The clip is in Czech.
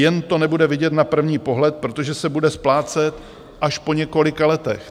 Jen to nebude vidět na první pohled, protože se bude splácet až po několika letech.